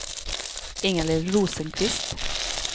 Inga-Lill Rosenqvist